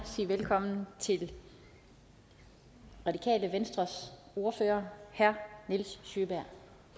sige velkommen til radikale venstres ordfører herre nils sjøberg